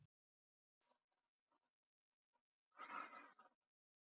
Fabrisíus, hver syngur þetta lag?